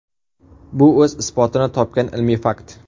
Bu o‘z isbotini topgan ilmiy fakt.